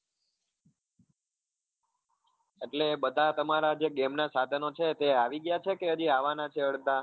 એટલે બધા તમારા જે game ના સાધનો છે તે આવી ગયા છે કે હજી અવાવાના છે અડધા?